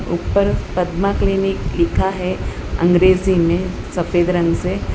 ऊपर पद्मा क्लिनिक लिखा है अंग्रेजी में सफेद रंग से।